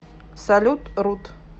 салют рут